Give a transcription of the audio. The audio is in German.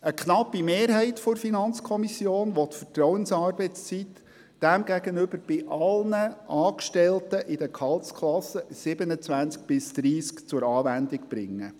Demgegenüber will eine knappe Mehrheit der FiKo die Vertrauensarbeitszeit bei allen Angestellten der Gehaltsklassen 27–30 zur Anwendung bringen.